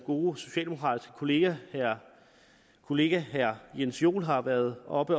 gode socialdemokratiske kollega herre kollega herre jens joel har været oppe